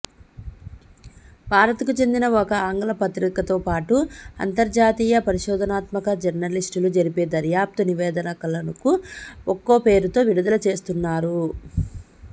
భారత్కు చెందిన ఒక ఆంగ్లపత్రికతోపాటు అంతర్జాతీయ పరిశోధనాత్మక జర్మలిస్టులు జరిపే దర్యాప్తు నివేదికలను ఒక్కోపేరుతో విడుదలచేస్తున్నారు